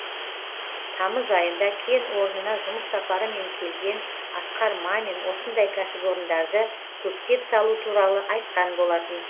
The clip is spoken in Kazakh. тамыз айында кен орнына жұмыс сапарымен келген асқар мамин осындай кәсіпорындарды көптеп салу туралы айтқан болатын